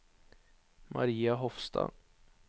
Maria Hofstad